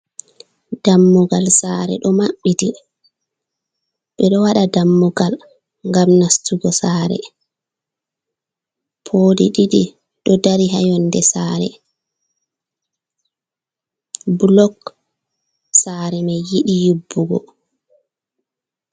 Dammugal sare ɗo maɓɓiti ɓe ɗo waɗa dammugal ngam nastugo sare poli ɗidi ɗo dari ha yonɗe sare bulok sare mai yidi yiɓɓugo.